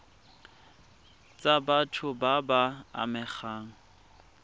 tsa batho ba ba amegang